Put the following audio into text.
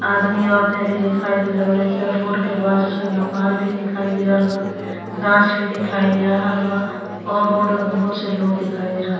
आदमी औरतें भी दिखाई दे रहल बाड़ी स। रोड के बाजू से मकान भी दिखाई दे रहल बा। गाछ भी दिखाई दे रहल बा और रोड में बहुत से लोग दिखाई दे रहल --